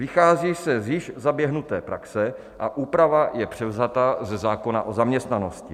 Vychází se již ze zaběhnuté praxe a úprava je převzata ze zákona o zaměstnanosti.